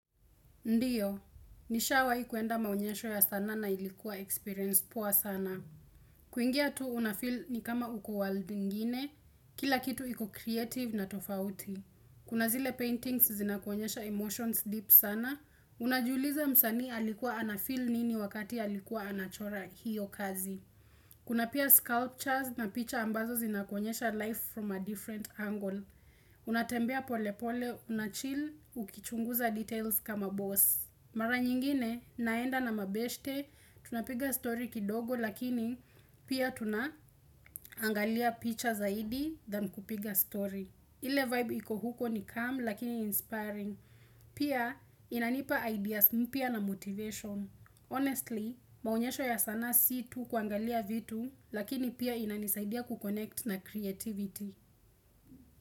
Ndiyo, nishawahi kwenda maonyesho ya sanaa na ilikuwa experience poa sana. Kuingia tu unafeel ni kama uko world ingine, kila kitu iko creative na tofauti. Kuna zile paintings zinakuonyesha emotions deep sana. Unajiuliza msanii alikuwa anafeel nini wakati alikuwa anachora hiyo kazi. Kuna pia sculptures na picha ambazo zinakuonyesha life from a different angle. Unatembea pole pole, unachill, ukichunguza details kama boss. Mara nyingine naenda na mabeshte, tunapiga story kidogo lakini pia tuna angalia picha zaidi than kupiga story. Ile vibe iko huko ni calm lakini inspiring. Pia inanipa ideas mpya na motivation. Honestly, maonyesho ya sanaa si tu kuangalia vitu lakini pia inanisaidia ku-connect na creativity.